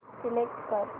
select कर